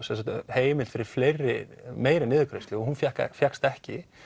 heimild fyrir meiri meiri niðurgreiðslu og hún fékkst fékkst ekki